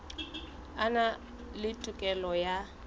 a na le tokelo ya